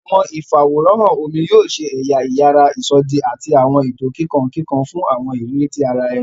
Awọn ifaworanhan omí yóò ṣe ẹya iyàrá isọdi ati awọn eto kikankikan fun awọn iriri ti ará ẹni.